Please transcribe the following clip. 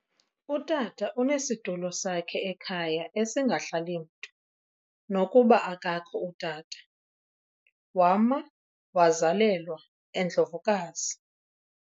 Utata unesitulo sakhe ekhaya esingahlali mntu nokuba akakho utata wama wazalelwa eNdlovukazi